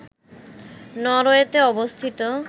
নরওয়েতে অবস্থিত